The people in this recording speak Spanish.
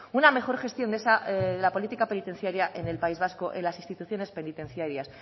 una mejor gestión de la política penitenciaria en el país vasco en las instituciones penitenciarias